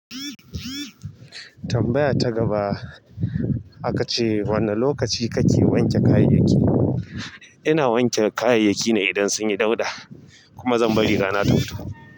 Tambaya ta gaba aka ce wane lokaci ka ke wanke kayayyaki? Ina wanke kayayyaki ne idan sun yi dauɗa kuma zan bari rana ta fito.